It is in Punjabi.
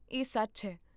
ਇਹ ਸੱਚ ਹੈ